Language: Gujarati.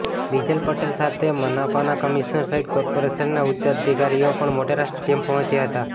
બિજલ પટેલ સાથે મનપાના કમિશનર સહિત કોર્પોરેશનના ઉચ્ચ અધિકારીઓ પણ મોટેરા સ્ટેડિયમ પહોંચ્યા હતા